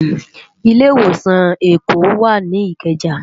Ilé Iwósán Ékó wá ni Ikeja